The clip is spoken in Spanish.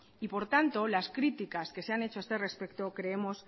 y por tanto las críticas que se han hecho a este respecto creemos